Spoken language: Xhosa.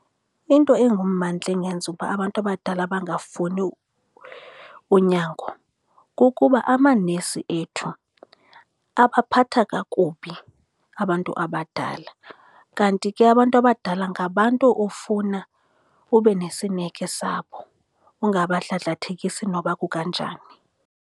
Into engummandla engenza uba abantu abadala bangafuni unyango kukuba amanesi ethu abaphatha kakubi abantu abadala, kanti ke abantu abadala ngabantu ofuna ube nesineke sabo, ungabadladlathekisi noba kukanjani.